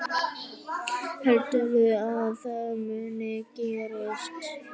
Heldurðu að það muni gerast?